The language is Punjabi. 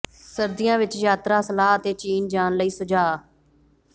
ਸਰਦੀਆਂ ਵਿੱਚ ਯਾਤਰਾ ਸਲਾਹ ਅਤੇ ਚੀਨ ਜਾਣ ਲਈ ਸੁਝਾਅ